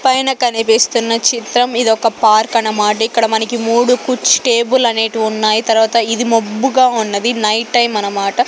పైన కనిపిస్తున్న చిత్రం ఇదొక పార్క్ అన్న మాట ఇక్కడ మనకు మూడు కుచ్ టేబుల్ అనేటివున్నాయ్ తర్వాత ఇవి మబ్బుగా ఉన్నది నైట్ టైమ్ అన్నమాట.